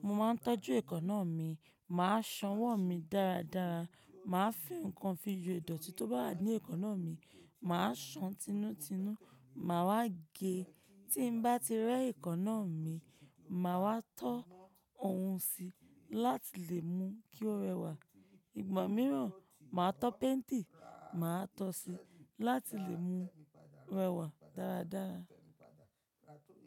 Mo máa ń tọ́jú èékánná mi, mà á sanwó mi dáradára, mà á fi ǹnkan fi yo ìdọ̀tí tó bá wa ní èékánná mi, mà á san tinú tinú, màá ge. Tí n bá ti rẹ́ èékánná mi, màá wa tọ́ ohun síi láti lè mú kí ó rẹwà. Ìgbà mìíràn, màá tọ́ pẹ́ńtì, màá tọ síi láti lè mú rẹwà dáradára.